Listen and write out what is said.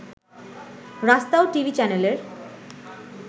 রাস্তাও টিভি চ্যানেলের